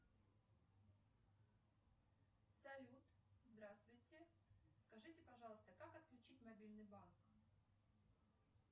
салют здравствуйте скажите пожалуйста как отключить мобильный банк